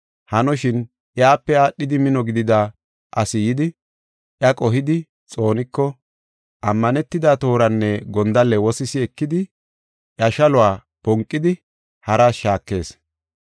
Hanoshin, iyape aadhidi mino gidida asi yidi, iya qohidi xooniko, ammanetida tooranne gondalle wosisi ekidi, iya shaluwa bonqidi haras shaakees.